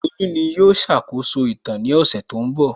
Tolú ní yóò ṣàkóso ìtàn ní ọ̀sẹ̀ tó ń bọ̀